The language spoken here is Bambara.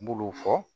N b'olu fɔ